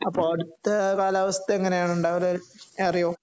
അപ്പോ അവിടുത്തെ കാലാവസ്ഥ എങ്ങനെയാണ് ഉണ്ടാകല് അറിയുമോ